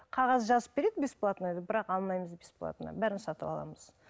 қағаз жазып береді бесплатно деп бірақ алмаймыз бесплатно бәрін сатып аламыз